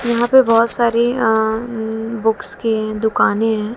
यहां पे बहुत सारी अं उं बुक्स की दुकानें हैं।